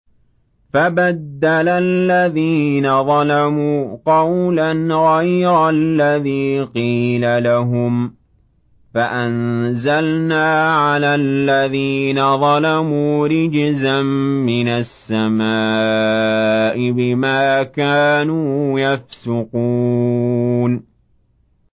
فَبَدَّلَ الَّذِينَ ظَلَمُوا قَوْلًا غَيْرَ الَّذِي قِيلَ لَهُمْ فَأَنزَلْنَا عَلَى الَّذِينَ ظَلَمُوا رِجْزًا مِّنَ السَّمَاءِ بِمَا كَانُوا يَفْسُقُونَ